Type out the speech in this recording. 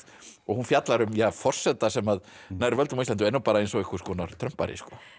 og hún fjallar um forseta sem nær völdum á Íslandi og er nú eins og einhvers konar Trump Ari